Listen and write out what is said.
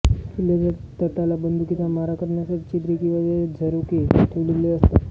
किल्ल्याच्या तटाला बंदुकीचा मारा करण्यासाठी छिद्रे किंवा झरोके ठेवलेले असतात